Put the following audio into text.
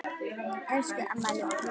Elsku Amma Jóna.